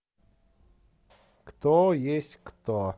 кто есть кто